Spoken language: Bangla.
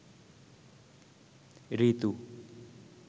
ঋতু